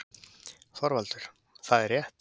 ÞORVALDUR: Það er rétt!